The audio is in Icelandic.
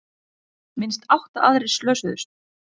Minnst átta aðrir slösuðust